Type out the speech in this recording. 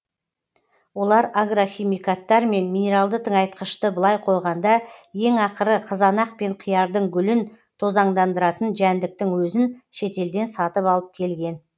олар агрохимикаттар мен минералды тыңайтқышты былай қойғанда ең ақыры қызанақ пен қиярдың гүлін тозаңдандыратын жәндіктің өзін шетелден сатып алып келген